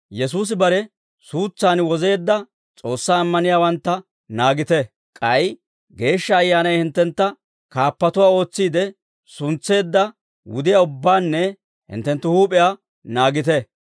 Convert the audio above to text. «Yesuusi bare suutsaan wozeedda S'oossaa ammaniyaawantta naagite; k'ay Geeshsha Ayyaanay hinttentta kaappatuwaa ootsiide suntseedda wudiyaa ubbaanne hinttenttu huup'iyaa naagite.